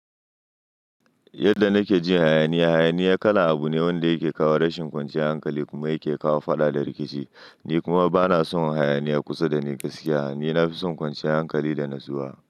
Yadda nake jin hayaniya, hayaniya kala abu ne wanda yake kawo rashin kwanciyar hankali kuma yake kawo fada da rikici. Ni kuma bana son hayaniya kusa da ni gaskiya. Ni na fi son kwanciyar hankali da natsuwa.